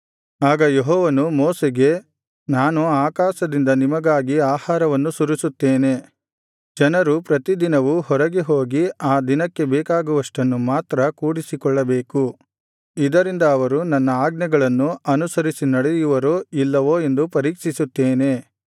ಆಗ ಯೆಹೋವನು ಮೋಶೆಗೆ ನಾನು ಆಕಾಶದಿಂದ ನಿಮಗಾಗಿ ಆಹಾರವನ್ನು ಸುರಿಸುತ್ತೇನೆ ಜನರು ಪ್ರತಿದಿನವೂ ಹೊರಗೆ ಹೋಗಿ ಆ ದಿನಕ್ಕೆ ಬೇಕಾಗುವಷ್ಟನ್ನು ಮಾತ್ರ ಕೂಡಿಸಿಕೊಳ್ಳಬೇಕು ಇದರಿಂದ ಅವರು ನನ್ನ ಆಜ್ಞೆಗಳನ್ನು ಅನುಸರಿಸಿ ನಡೆಯುವರೋ ಇಲ್ಲವೋ ಎಂದು ಪರೀಕ್ಷಿಸುತ್ತೇನೆ